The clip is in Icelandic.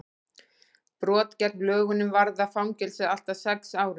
brot gegn lögunum varða fangelsi allt að sex árum